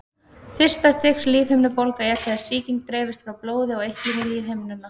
Fyrsta stigs lífhimnubólga er þegar sýking dreifist frá blóði og eitlum í lífhimnuna.